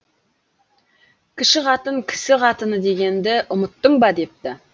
кіші қатын кісі қатыны дегенді ұмыттың ба депті